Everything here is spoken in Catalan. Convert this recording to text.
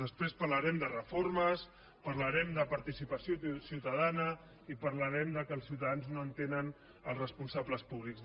després parlarem de reformes parlarem de participació ciutadana i parlarem que els ciutadans no entenen els responsables públics